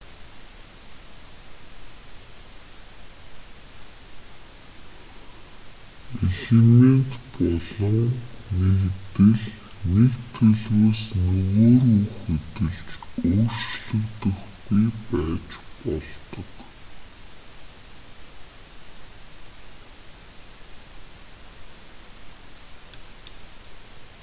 элемент болон нэгдэл нэг төлөвөөс нөгөө рүү хөдөлж өөрчлөгдөхгүй байж болдог